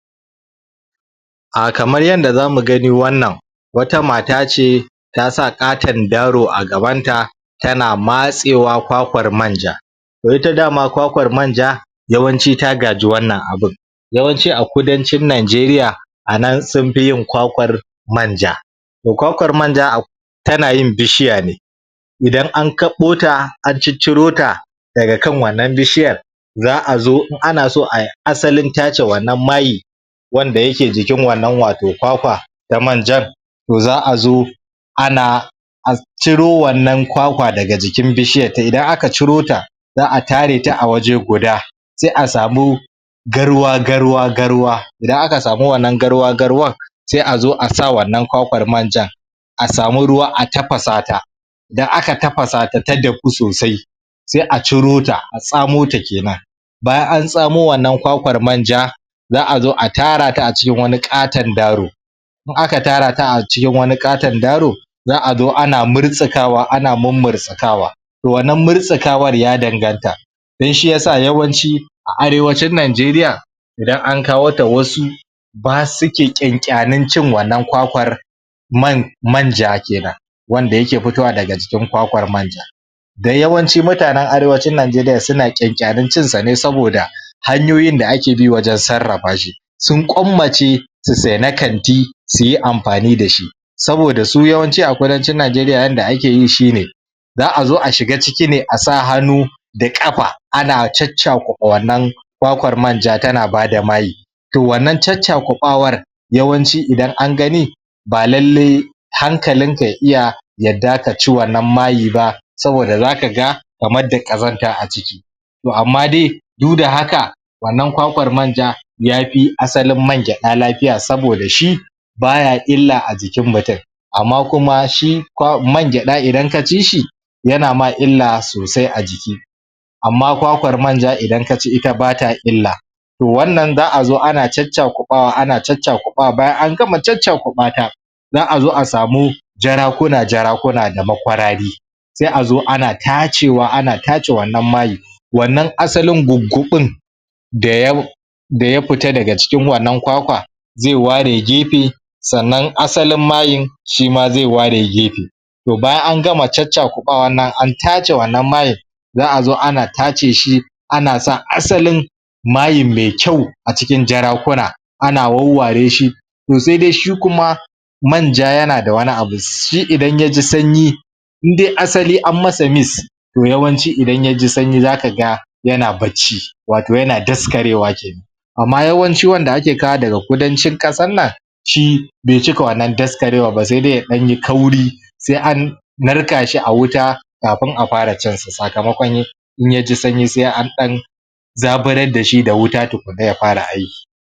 Ah kamar yanda zamu gani wannan wata mata ce ta sa ƙaton daaro a gabanta tana matsewa kwakwar manja toh ita dama kwakwar manja yawanci ta gaji wannan abun yawanci a kudancin nijeriya a nan sunfi yin kwakwar manja toh kwakwar manja tana yin bishiya ne idan an kaɓo ta a cicciro ta daga kan wannan bishiyar za'a zo in ana so ai asalin tace wannan mai wanda yake jikin wannan wato kwakwa manjan za'a zo ana ciro wannan kwakwa daga jikin bishiyar ta idan aka ciro ta za'a tare ta a waje guda sai a samu garwa-garwa garwa idan aka samu wannan garwa-garwan sai a zo a sa wannan kwakwar manjan a samu ruwa a tafasa ta idan aka tafasata ta dahu sosai sai a ciro ta, a tsamo ta kenan bayan an tsamo wannan kwakwar manja za'a zo a tara ta acikin wani ƙaton daaro in aka tara ta acikin wani ƙaton daaro za'a zo ana murtsukawa ana mummurtsikawa toh wannan murtsikawar ya danganta dan shiyasa yawanci a arewacin nijeriya idan an kawo ta wasu ba.. suke ƙyanƙyanin cin wannan kwakwar man manja kenan wanda yake fitowa daga jikin kwakwar manja da yawanci mutanen arewacin najeriya suna ƙyanƙyanin cin sa ne saboda hanyoyin da ake bi wajen sarrafa shi sun ƙwammace su sayi na kanti suyi amfani dashi saboda su yawanci a kudancin najeriya yanda ake yi shi ne za'a zo a shiga ciki ne a sa hannu da ƙafa ana caccakuɓa wannan kwakwar manja tana bada mai toh wannan caccakuɓawar yawanci idan an gani ba lallai hankalinka ya iya yadda kaci wannan mayi ba saboda zaka ga kamar da ƙazanta aciki toh amma dai duk da haka wannan kwakwar manja yafi asalin man gyaɗa lafiya saboda shi baya illa a jikin mutum amma kuma shi kwa.. man gyaɗa idan kaci shi yana ma illa sosai a jiki amma kwakwar manja idan kaci ita bata illa toh wannan za'a zo ana caccakuɓawa ana caccakuɓa wa, bayan an gama caccakuɓata za'a zo a samu jarakuna-jarakuna da makwarari sai a zo ana tacewa ana tace wannan mai wannan asalin gugguɓin da da ya fita daga cikin wannan kwakwa zai ware gefe sannan asalin mayin shima zai ware gefe toh bayan an gama caccakuɓawa nan an tace wannan mayi za'a zo ana tace shi ana sa asalin mayi mai kyau acikin jarakuna ana wawware shi toh sai dai shi kuma manja yanada wani abu, shi idan ya ji sanyi indai asali anyi masa mis toh yawanci idan ya ji sanyi zaka ga yana bacci wato yana daskarewa kenan amma yawanci wanda ake kawo daga kudancin ƙasar nan shi bai cika wannan daskarewan ba sai dai yayi ɗan kauri sai an narka shi a wuta kafin a fara cin sa sakamakon in ya ji sanyi sai an ɗan zaburar dashi da wuta tukunna ya fara aiki